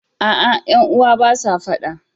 A'a, ƴan uwa ba sa faɗa